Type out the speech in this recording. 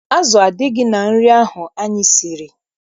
Azụ adịghị na nri ahụ anyị siri.